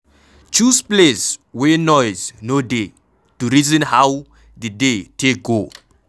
Choose place wey noise no dey to reason how di day take go.